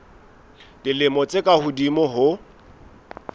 dilemo tse ka hodimo ho